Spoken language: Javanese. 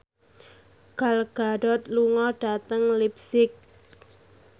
Gal Gadot lunga dhateng leipzig